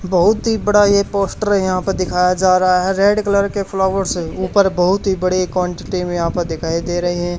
बहुत ही बड़ा ये पोस्टर है यहां पे दिखाया जा रहा है रेड कलर के फ्लावर से ऊपर बहुत ही बड़े क्वांटिटी में यहां प दिखाई दे रहे हैं।